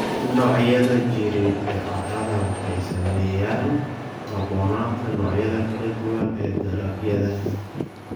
Noocyada jireed ee carrada waxay saameeyaan ku habboonaanta noocyada kala duwan ee dalagyada.